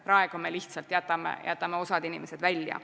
Praegu me lihtsalt jätame osa inimesi välja.